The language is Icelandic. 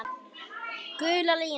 Gula línan.